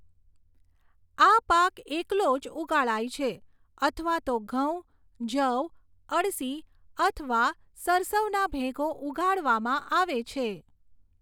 આ પાક એકલો જ ઉગાડાય છે અથવા તો ઘઉં, જવ, અળસી અથવા સરસવનાં ભેગો ઉગાડવામાં આવે છે.